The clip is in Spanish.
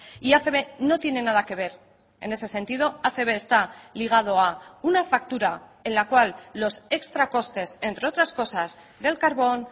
y acb no tiene nada que ver en ese sentido acb está ligado a una factura en la cual los extracostes entre otras cosas del carbón